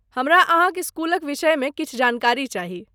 हमरा अहाँक स्कूलक विषयमे किछु जानकारी चाही।